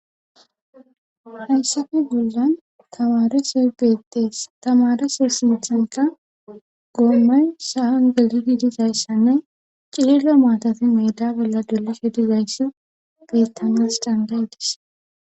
hayssafe bollan kamare sebeetees tamare sersinthanta goommay sahangelidi dizayssanne cililla maatati medabella dolishe dizaysso beettanas dandaydis